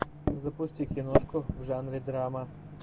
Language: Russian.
запусти киношку в жанре драма